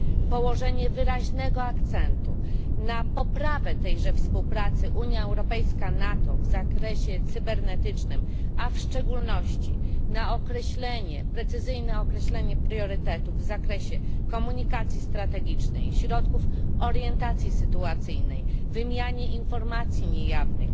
Położenie wyraźnego akcentu na poprawę tejże współpracy między Unią Europejską a NATO w zakresie cybernetycznym, a w szczególności na precyzyjne określenie priorytetów w zakresie komunikacji strategicznej, środków orientacji sytuacyjnej, wymiany informacji niejawnych,